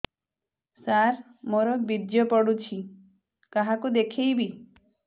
ସାର ମୋର ବୀର୍ଯ୍ୟ ପଢ଼ୁଛି କାହାକୁ ଦେଖେଇବି